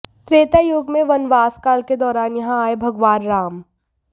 त्रेता युग में वनवास काल के दौरान यहां आए भगवान राम